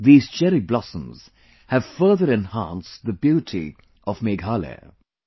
These cherry blossoms have further enhanced the beauty of Meghalaya